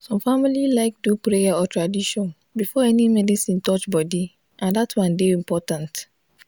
some family like do prayer or tradition before any medicine touch body and dat one dey important.